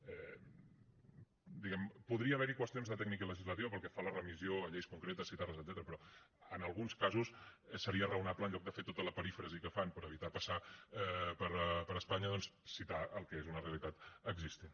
diguem ne podria haver hi qüestions de tècnica legislativa pel que fa a la remissió a lleis concretes citar les etcètera però en alguns casos seria raonable en lloc de fer tota la perífrasi que fan per evitar passar per espanya doncs citar el que és una realitat existent